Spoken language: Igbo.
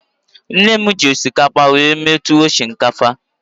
Nne m na-eji osikapa eme tuwo shinkafa.